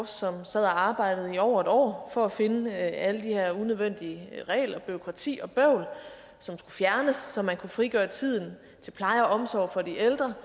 som sad og arbejdede i over et år for at finde alle de her unødvendige regler bureaukrati og bøvl som skulle fjernes så man kunne frigøre tiden til pleje og omsorg for de ældre